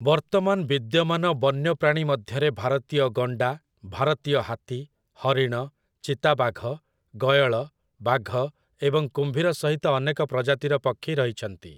ବର୍ତ୍ତମାନ ବିଦ୍ୟମାନ ବନ୍ୟପ୍ରାଣୀ ମଧ୍ୟରେ ଭାରତୀୟ ଗଣ୍ଡା, ଭାରତୀୟ ହାତୀ, ହରିଣ, ଚିତାବାଘ, ଗୟଳ, ବାଘ ଏବଂ କୁମ୍ଭୀର ସହିତ ଅନେକ ପ୍ରଜାତିର ପକ୍ଷୀ ରହିଛନ୍ତି ।